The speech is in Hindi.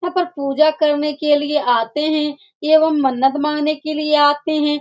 यहां पर पूजा करने के लिए आते हैं एगो मन्नत मांगने के लिए आते हें।